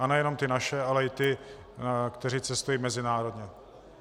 A nejenom ty naše, ale i ty, kteří cestují mezinárodně.